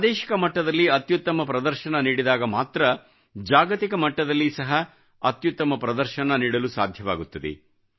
ಪ್ರಾದೇಶಿಕ ಮಟ್ಟದಲ್ಲಿ ಅತ್ಯುತ್ತಮ ಪ್ರದರ್ಶನ ನೀಡಿದಾಗ ಮಾತ್ರ ಜಾಗತಿಕ ಮಟ್ಟದಲ್ಲಿ ಸಹ ಅತ್ಯುತ್ತಮ ಪ್ರದರ್ಶನ ನೀಡಲು ಸಾಧ್ಯವಾಗುತ್ತದೆ